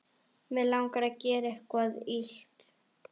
Mig langar að gera eitthvað illt.